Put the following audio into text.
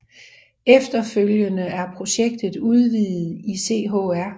Efterfølgende er projektet udvidet i Chr